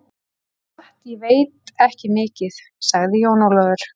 Það er satt, ég veit ekki mikið, sagði Jón Ólafur.